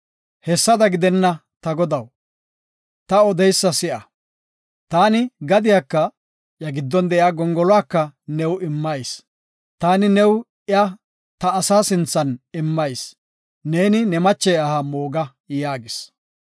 “Hessada gidenna; ta godaw, ta odeysa si7a; taani gadiyaka iya giddon de7iya gongoluwaka new immayis; taani new iya ta asa sinthan immayis; neeni ne mache aha mooga” yaagis.